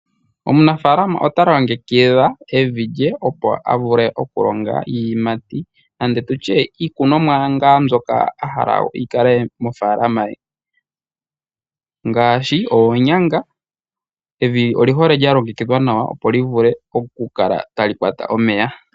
Omunafaalama ota longekidha evi lye opo avule okulonga iiyimati nenge tutye iikonomwa ngaa mbyoka a hala yi kale mofaalama ye, ngaashi oonyanga evi oli hole lya longekidhwa nawa opo livule okukala tali kwata omeya.